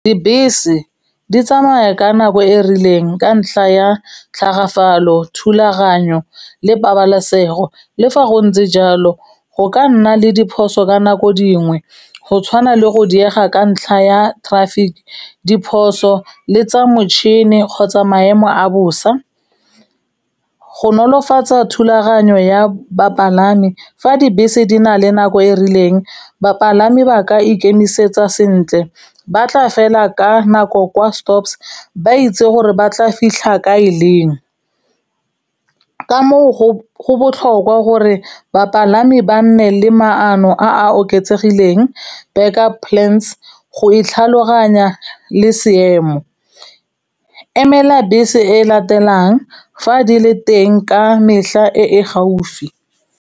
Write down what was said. Dibese di tsamaya ka nako e rileng ka ntlha ya tlhagafalo, thulaganyo le pabalesego. Le fa go ntse jalo, go ka nna le diphoso ka nako dingwe go tshwana le go diega ka ntlha ya traffic, diphoso le tsa motšhini kgotsa maemo a bosa. Go nolofatsa thulaganyo ya bapalami fa dibese di na le nako e rileng, bapalami ba ka ikemisetsa sentle, ba tla fela ka nako kwa stops, ba itse gore ba tla fitlha ka e leng. Ka moo go botlhokwa gore bapalami ba nne le maano a a oketsegileng, back-up plans go e tlhaloganya le seemo. Emela bese e latelang fa di le teng ka e e gaufi.